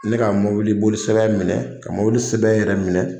Ne ka mɔbili boli sira in minɛ ka mɔbili sɛbɛn yɛrɛ minɛ.